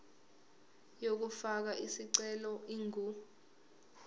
yokufaka isicelo ingu